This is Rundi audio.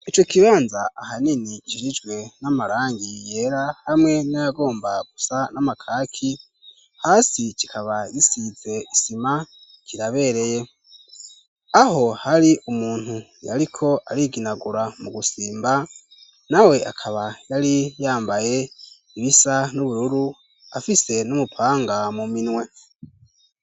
Ico kibanza ahanini kijijwe n'amarangi yera hamwe nayagomba gusa n'amakaki hasi kikaba yisize isima kirabereye. Aho hari umuntu yariko ariginagura mu gusimba na we akaba yari yambaye ibisa n'ubururu afise n'umupanga mu minwe.